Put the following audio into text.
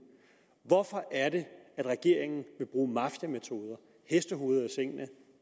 hvorfor er det at regeringen vil bruge mafiametoder hestehoveder i sengene